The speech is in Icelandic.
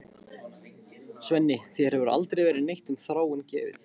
Svenni, þér hefur aldrei verið neitt um Þráin gefið.